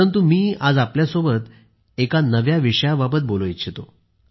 परंतु मी आज आपल्या सोबत एका नव्या विषयाबाबत बोलू इच्छितो